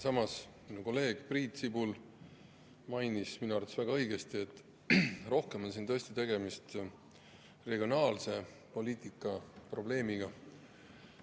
Samas mainis minu kolleeg Priit Sibul minu arvates väga õigesti, et rohkem on siin tõesti tegemist regionaalpoliitika probleemiga.